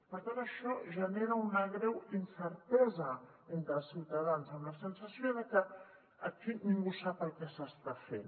per tant això genera una greu incertesa entre els ciutadans amb la sensació que aquí ningú sap el que s’està fent